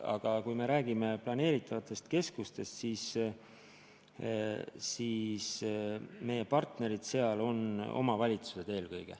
Aga kui me räägime planeeritavatest keskustest, siis meie partnerid on eelkõige omavalitsused.